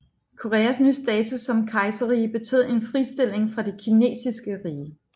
Koreas nye status som kejserrige betød en fristilling fra det kinesiske rige